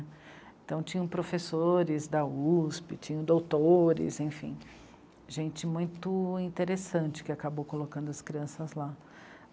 Então tinham professores da USP, tinham doutores, enfim, gente muito interessante que acabou colocando as crianças lá.